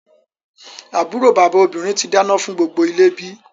Àbúrò bàbá obìnrin tí dáná fún gbogbo ilé bí?